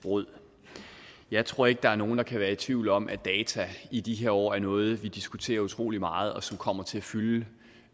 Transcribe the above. råd jeg tror ikke der er nogen der kan være tvivl om at data i de her år er noget vi diskuterer utrolig meget og som kommer til at fylde